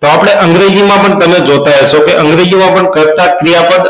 તો આપણે અંગ્રેજી માં પણ જોતાં હશો તો અંગ્રેજી માં પણ કર્તા ક્રિયાપદ